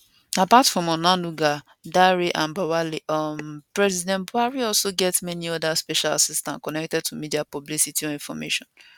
apart from onanuga dare and bwala um president buhari also get many oda special assistants connected to media publicity or information